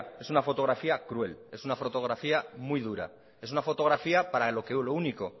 es una fotografía cruel es una fotografía muy dura es una fotografía para lo único